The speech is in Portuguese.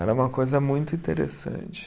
Era uma coisa muito interessante.